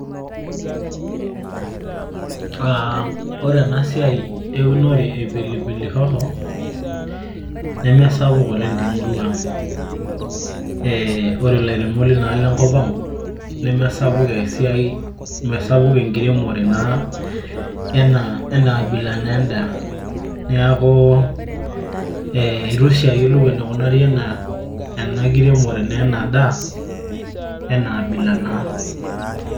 ore ena siai eunore e pilipilihoho nemesapuk oleng temurua ang, ore ilairemok leina alo enkop ang' ,nemesapuk esiai, ashu enkiremore naa enaa bila edaa. niaku eitu oshi ayiolu enkremore ena daa. ena abila naa.